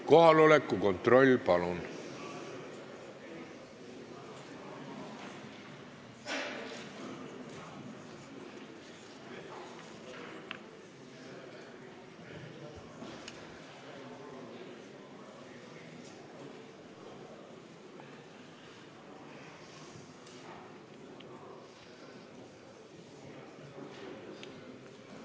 Kohaloleku kontroll, palun!